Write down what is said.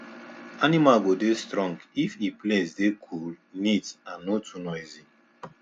animal go dey strong if e place dey cool neat and no too noisy